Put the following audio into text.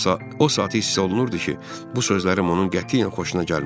O saat hiss olunurdu ki, bu sözlərim onun qətiyyən xoşuna gəlmədi.